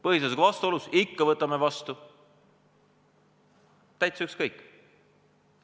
Põhiseadusega vastuolus – ikka võtame vastu, täitsa ükskõik!